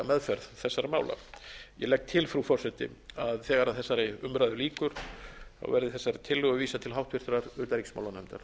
meðferð þessara mála ég legg til frú forseti að þegar þessar umræðu lýkur verði þessari tillögu vísað til háttvirtrar utanríkismálanefndar